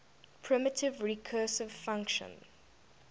primitive recursive function